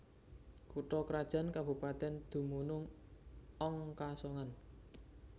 Kutha krajan kabupatèn dumunung ong Kasongan